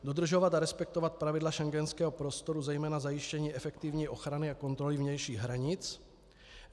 Dodržovat a respektovat pravidla schengenského prostoru, zejména zajištění efektivní ochrany a kontroly vnějších hranic.